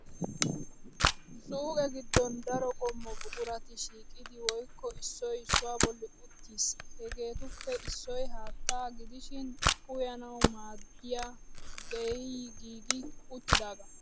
Suuqee giddon daro qommo buqurati shiiqidi woykko issoy issuwaa bolli uttis. Hegeetuppe issoy haattaa gidishin uyanawu maddiyaa geeyyi giigi uttidaagaa.